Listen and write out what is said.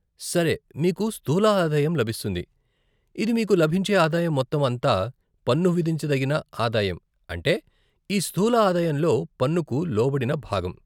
సరే, మీకు స్థూల ఆదాయం లభిస్తుంది, ఇది మీకు లభించే ఆదాయం మొత్తం అంతా, పన్ను విధించదగిన ఆదాయం అంటే ఈ స్థూల ఆదాయంలో పన్నుకు లోబడిన భాగం.